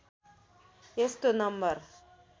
यस्तो नम्बर